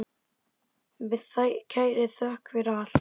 Með kærri þökk fyrir allt.